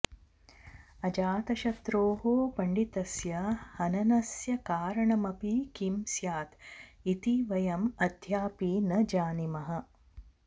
अजातशत्रोः पण्डितस्य हननस्य कारणमपि किं स्यात् इति वयम् अद्यापि न जानीमः